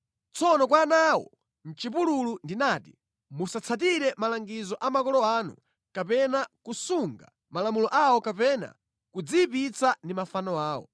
Tsono kwa ana awo mʼchipululu ndinati, ‘Musatsatire malangizo a makolo anu kapena kusunga malamulo awo kapena kudziyipitsa ndi mafano awo.